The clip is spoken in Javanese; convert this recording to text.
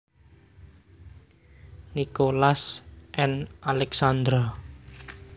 Nicholas and Alexandra